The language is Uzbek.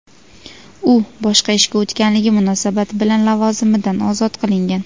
u boshqa ishga o‘tganligi munosabat bilan lavozimidan ozod qilingan.